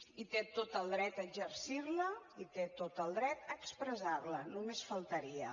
i té tot el dret a exercir la i té tot el dret a expressar la només faltaria